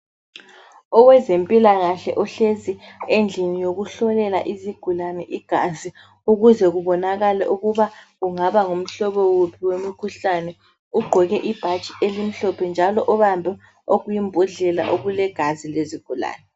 Owezempilakahle uhlezi endlini yokuhlolela izigulane igazi ukuze kubonakale ukuba kungaba ngumhlobo wuphi wemkhuhlane ugqoke ibhatshi elimhlophe njalo ubambe okuyimbhodlela okulegazi lezigulane.